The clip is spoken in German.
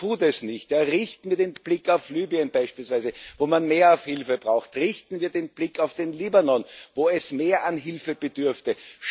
Man tut es nicht. Richten wir den Blick auf Libyen beispielsweise, wo man mehr Hilfe braucht, richten wir den Blick auf den Libanon, wo es mehr Hilfe bedürfte.